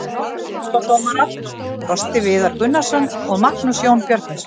Aðstoðardómarar: Frosti Viðar Gunnarsson og Magnús Jón Björgvinsson.